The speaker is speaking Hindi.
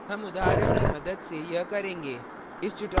हम उदाहरण की मदद से यह करेंगे